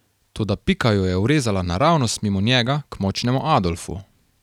Toda Pika jo je urezala naravnost mimo njega k Močnemu Adolfu.